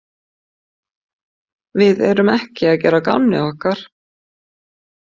Við erum ekki að gera að gamni okkar.